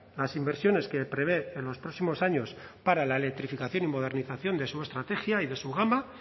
las inversiones que prevé en los próximos años para la electrificación y modernización de su estrategia y de su gama